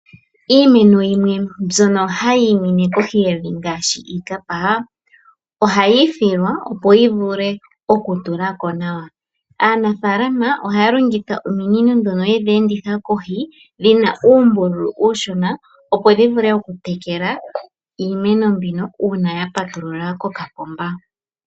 Iimeno yimwe mbyono hayi mene kohi yevi ngaashi iikapa, ohayi thilwa, opo yi vule okutulako nawa. Aanafaalama ohaa longitha ominino dhono yedhi enditha kohi, dhina uumbulu uushona, opo dhi vule okutekela iimeno mbyoka uuna ya patulula kokapomba.